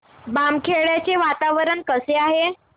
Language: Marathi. बामखेडा चे वातावरण कसे आहे